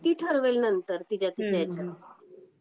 ती ठरवेल नंतर तिच्या तिच्या ह्याने.